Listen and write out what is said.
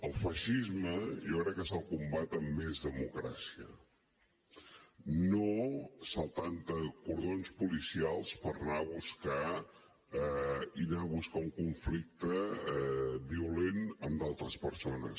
al feixisme jo crec que se’l combat amb més democràcia no saltant te cordons policials i anar a buscar un conflicte violent amb d’altres persones